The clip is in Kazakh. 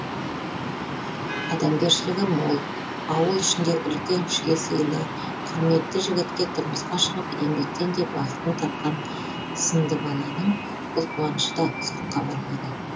адамгершілігі мол ауыл ішінде үлкен кішіге сыйлы құрметті жігітке тұрмысқа шығып еңбектен де бақытын тапқан сындыбаланың бұл қуанышы да ұзаққа бармады